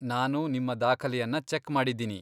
ನಾನು ನಿಮ್ಮ ದಾಖಲೆಯನ್ನ ಚೆಕ್ ಮಾಡಿದ್ದೀನಿ.